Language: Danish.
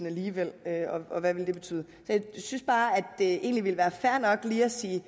alligevel og hvad vil det betyde jeg synes bare at det egentlig ville være fair nok lige at sige